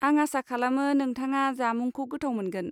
आं आसा खालामो नोंथाङा जामुंखौ गोथाव मोनगोन।